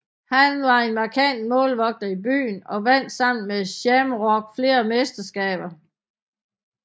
Han var en markant målvogter i byen og vandt sammen med Shamrock flere mesterskaber